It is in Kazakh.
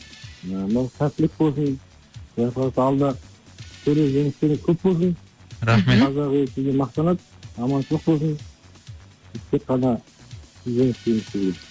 ыыы мынау сәттілік болсын енді құдай қаласа алда түрлі жеңістерің көп болсын рахмет қазақ елі сізбен мақтанады аманшылық болсын тек қана жеңіске жете бер